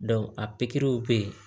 a pikiriw be yen